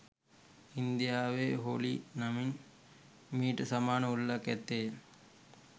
ඉන්දියාවේ හෝලි නමින් මීට සමාන උළෙලක් ඇත්තේය